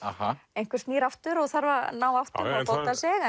einhver snýr aftur og þarf að ná áttum og fóta sig